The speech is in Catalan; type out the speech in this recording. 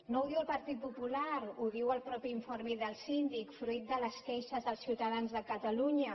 no ho diu el partit popular ho diu el mateix informe del síndic fruit de les queixes dels ciutadans de catalunya